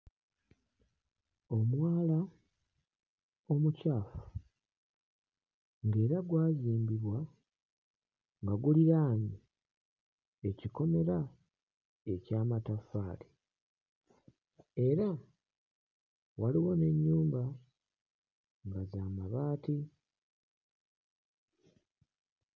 Omwala omucaafu ng'era gwazimbibwa nga guliraanye ekikomera eky'amataffaali era waliwo n'ennyumba nga za mabaati.